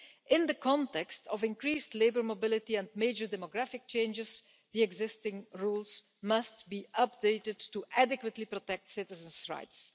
In the context of increased labour mobility and major demographic changes, the existing rules must be updated to adequately protect citizens' rights.